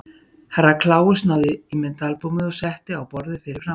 Herra Kláus náði í myndaalbúmið og setti á borðið fyrir framan sig.